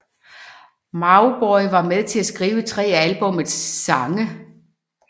Mauboy var med til at skrive tre af albummets sange